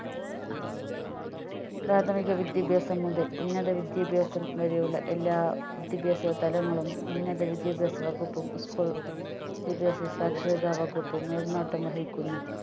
പ്രാഥമിക വിദ്യാഭ്യാസം മുതൽ ഉന്നത വിദ്യാഭ്യാസം വരെയുള്ള എല്ലാ വിദ്യഭ്യാസ തലങ്ങളും ഉന്നത വിദ്യാഭ്യാസ വകുപ്പും school വിദ്യാഭ്യാസ സാക്ഷരതാ വകുപ്പും മേൽനോട്ടം വഹിക്കുന്നു